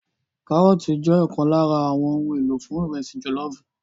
Kárọ́ọ̀tì jẹ́ ọ̀kan lára àwọn ohun èlò fún ìrẹsì jọ̀lọ́ọ̀fù